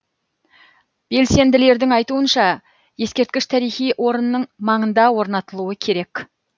белсенділердің айтуынша ескерткіш тарихи орынның маңында орнатылуы керек